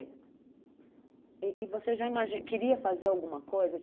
E e você já ima queria fazer alguma coisa?